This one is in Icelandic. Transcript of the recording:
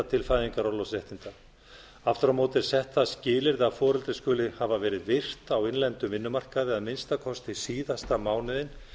til fæðingarorlofsréttinda aftur á móti er átt það skilyrði að foreldri skuli hafa verið virt á innlendum vinnumarkaði að minnsta kosti síðasta mánuðinn